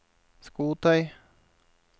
skotøy